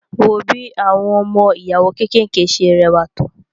Wo bí àwọn ọmọ ìyàwó kékèké ṣe rẹwà tó